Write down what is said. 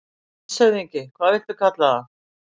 LANDSHÖFÐINGI: Hvað viltu kalla það?